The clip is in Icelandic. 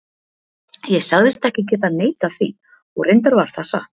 Ég sagðist ekki geta neitað því, og reyndar var það satt.